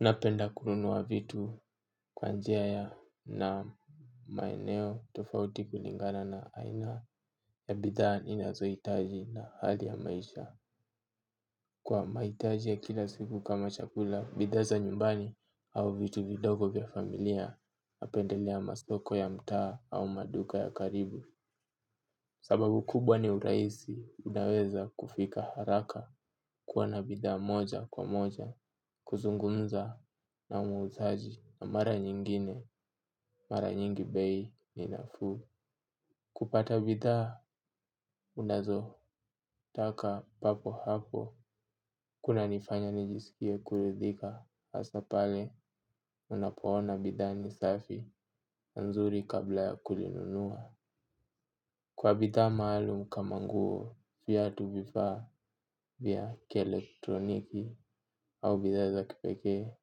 Napenda kununua vitu kwa njia ya na maeneo tofauti kulingana na aina ya bidhaa ninazohitaji na hali ya maisha. Kwa mahitaji ya kila siku kama chakula, bidhaa za nyumbani au vitu vidogo vya familia, napendelea masoko ya mtaa au maduka ya karibu. Sababu kubwa ni urahisi, unaweza kufika haraka kuwa na bidhaa moja kwa moja, kuzungumza na muzaaji na mara nyingine, mara nyingi bei ni nafuu. Kupata bidhaa, unazotaka papo hapo, kunanifanya nijisikie kuridhika, hasa pale unapoona bidhaa ni safi, nzuri kabla ya kulinunua. Kwa bidhaa maalum kama nguo viatu vifaa vya kielektroniki au bidhaa za kipekee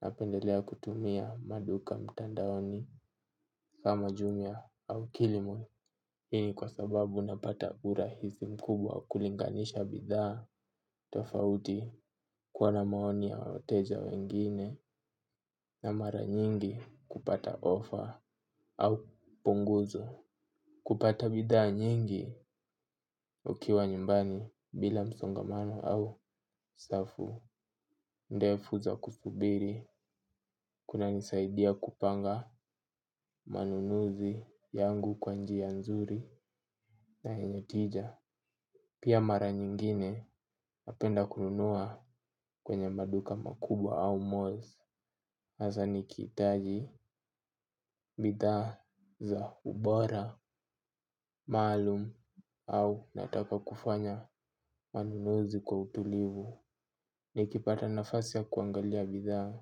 napendelea kutumia maduka mtandaoni kama jumia au kilimol. Hii ni kwa sababu napata urahisi mkubwa kulinganisha bidhaa tofauti kuwa na maoni ya wateja wengine na mara nyingi kupata offer au punguzo. Kupata bidhaa nyingi ukiwa nyumbani bila msongamano au saffu. Ndefu za kusubiri kunanisaidia kupanga manunuzi yangu kwa njia nzuri na yenye tija. Pia mara nyingine napenda kununua kwenye maduka makubwa au malls. Hasaa nikihitaji bidhaa za ubora, maalum, au nataka kufanya manunuzi kwa utulivu. Nikipata nafasi ya kuangalia bidhaa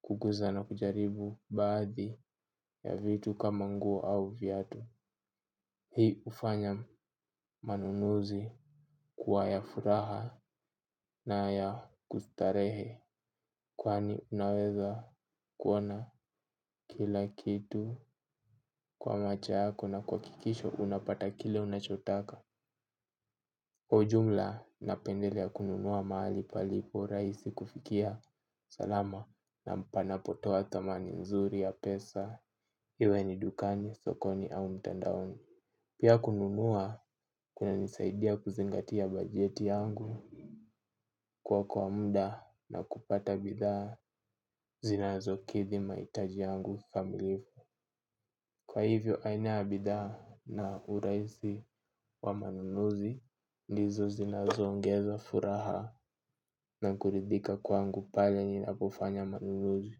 kuguza na kujaribu baadhi ya vitu kama nguo au viatu hii hufanya manunuzi kuwa ya furaha na ya kustarehe. Kwani unaweza kuona kila kitu kwa macho yako na kuhakikisha unapata kile unachotaka. Kwa ujumla napendelea kununua mahali palipo raisi kufikia salama na mpanapotoa thamani mzuri ya pesa. Iwe ni dukani, sokoni, au mtandaoni pia kununua kunanisaidia kuzingatia bajeti yangu kuokoa muda na kupata bidhaa zinazokidhi mahitaji yangu kikamilifu. Kwa hivyo, aina ya bidhaa na uraisi wa manunuzi, ndizo zinazoongeza furaha na kuridhika kwangu pale ninapofanya manunuzi.